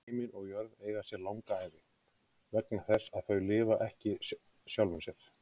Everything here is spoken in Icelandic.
Himinn og jörð eiga sér langa ævi, vegna þess að þau lifa ekki sjálfum sér.